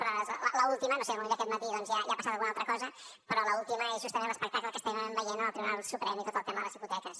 però l’última no ho sé potser aquest matí doncs ja ha passat alguna altra cosa és justament l’espectacle que estem veient en el tribunal suprem i tot el tema de les hipoteques